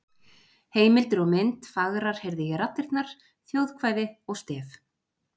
Heimildir og mynd Fagrar heyrði ég raddirnar, þjóðkvæði og stef.